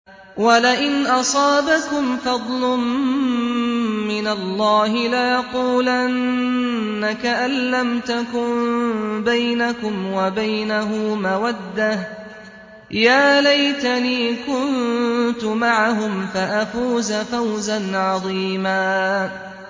وَلَئِنْ أَصَابَكُمْ فَضْلٌ مِّنَ اللَّهِ لَيَقُولَنَّ كَأَن لَّمْ تَكُن بَيْنَكُمْ وَبَيْنَهُ مَوَدَّةٌ يَا لَيْتَنِي كُنتُ مَعَهُمْ فَأَفُوزَ فَوْزًا عَظِيمًا